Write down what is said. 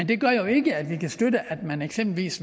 det gør jo ikke at vi kan støtte at man eksempelvis